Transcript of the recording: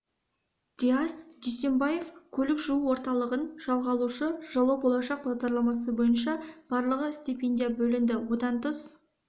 диас дүйсембаев көлік жуу орталығын жалға алушы жылы болашақ бағдарламасы бойынша барлығы стипендия бөлінді одан тыс